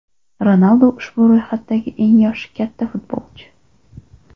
Ronaldu ushbu ro‘yxatdagi eng yoshi katta futbolchi.